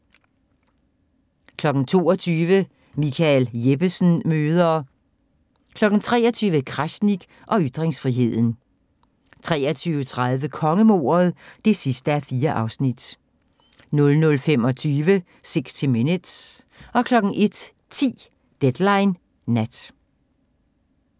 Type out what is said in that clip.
22:00: Michael Jeppesen møder ... 23:00: Krasnik og ytringsfriheden 23:30: Kongemordet (4:4) 00:25: 60 Minutes 01:10: Deadline Nat